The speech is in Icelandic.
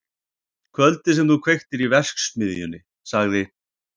Kvöldið sem þú kveiktir í verksmiðjunni- sagði